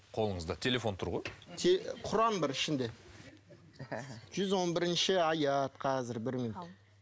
қолыңызда телефон тұр ғой құран бар ішінде жүз он бірінші аят қазір бір минут